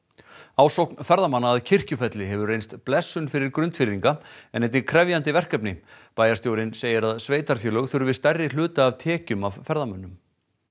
ásókn ferðamanna að Kirkjufelli hefur reynst blessun fyrir Grundfirðinga en einnig krefjandi verkefni bæjarstjórinn segir að sveitarfélög þurfi stærri hluta af tekjum af ferðamönnum